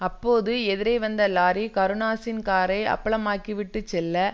அப்போது எதிரே வந்த லாரி கருணாஸின் காரை அப்பளமாக்கிவிட்டு செல்ல